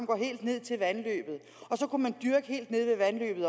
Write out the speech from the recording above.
går helt ned til vandløbet og så kunne man også dyrke helt nede ved vandløbet